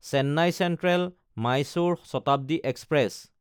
Chennai চেন্ট্ৰেল–মাইচুৰো Shatabdi express